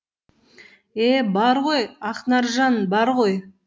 е бар ғой ақнаржан бар ғой